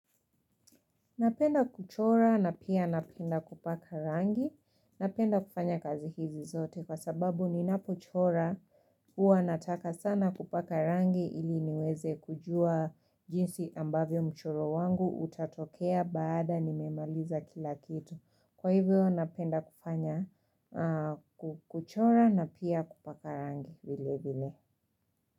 Napenda kuchora na pia napenda kupaka rangi, napenda kufanya kazi hizi zote kwa sababu ninapochora huwa nataka sana kupaka rangi ili niweze kujua jinsi ambavyo mchoro wangu utatokea baada nimemaliza kila kitu. Kwa hivyo napenda kufanya kuchora na pia kupaka rangi.